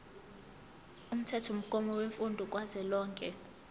umthethomgomo wemfundo kazwelonke